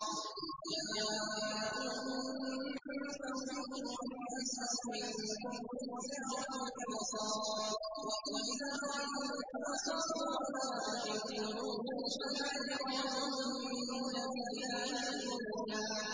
إِذْ جَاءُوكُم مِّن فَوْقِكُمْ وَمِنْ أَسْفَلَ مِنكُمْ وَإِذْ زَاغَتِ الْأَبْصَارُ وَبَلَغَتِ الْقُلُوبُ الْحَنَاجِرَ وَتَظُنُّونَ بِاللَّهِ الظُّنُونَا